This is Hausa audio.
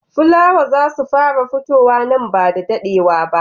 Fula wow I za su fara futuwa nan ba da daɗewa ba.